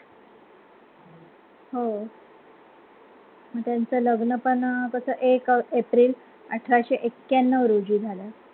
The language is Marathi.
हो आणि त्यांचं लग्न पण अं कसं एक एप्रिल अठराशे एक्याण्णवरोजी झालं.